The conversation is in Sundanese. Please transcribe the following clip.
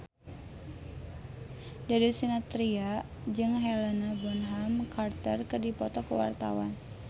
Darius Sinathrya jeung Helena Bonham Carter keur dipoto ku wartawan